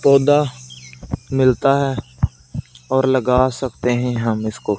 पौधा मिलता है और लगा सकते हैं हम इसको--